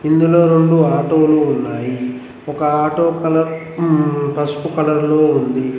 ఇందులో రెండు ఆటోలు ఉన్నాయి ఒక ఆటో కలర్ పసుపు కలర్ లో ఉంది.